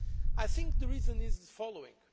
I think the reason is the following.